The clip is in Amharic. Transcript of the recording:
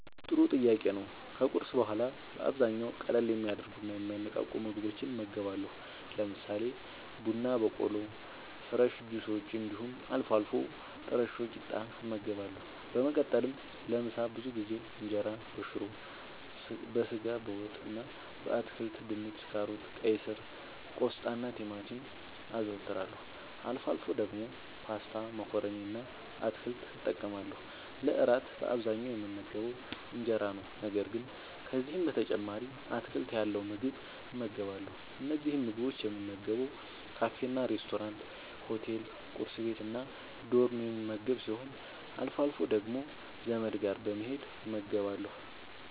ጥሩ ጥያቄ ነዉ ከቁርስ በኋላ በአብዛኛዉ ቀለል የሚያደርጉና የሚያነቃቁ ምግቦችን እመገባለሁ። ለምሳሌ፦ ቡና በቆሎ፣ ፍረሽ ጁሶች እንዲሁም አልፎ አልፎ ጥረሾ ቂጣ እመገባለሁ። በመቀጠልም ለምሳ ብዙ ጊዜ እንጀራበሽሮ፣ በስጋ ወጥ እና በአትክልት( ድንች፣ ካሮት፣ ቀይስር፣ ቆስጣናቲማቲም) አዘወትራለሁ። አልፎ አልፎ ደግሞ ፓስታ መኮረኒ እና አትክልት እጠቀማለሁ። ለእራት በአብዛኛዉ የምመገበዉ እንጀራ ነዉ። ነገር ግን ከዚህም በተጨማሪ አትክልት ያለዉ ምግብ እመገባለሁ። እነዚህን ምግቦች የምመገበዉ ካፌናሬስቶራንት፣ ሆቴል፣ ቁርስ ቤት፣ እና ዶርም የምመገብ ሲሆን አልፎ አልፎ ደግሞ ዘመድ ጋር በመሄድ እመገባለሁ።